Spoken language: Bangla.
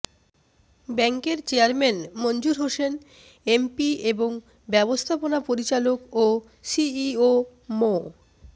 ব্যাংকের চেয়ারম্যান মনজুর হোসেন এমপি এবং ব্যবস্থাপনা পরিচালক ও সিইও মো